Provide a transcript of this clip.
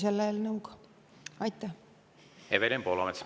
Evelin Poolamets, palun!